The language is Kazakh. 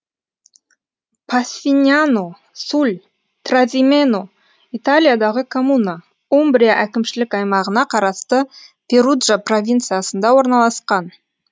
пассиньяно суль тразимено италиядағы коммуна умбрия әкімшілік аймағына қарасты перуджа провинциясында орналасқан